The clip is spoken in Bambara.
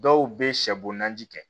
Dɔw bɛ sɛbonnaji kɛ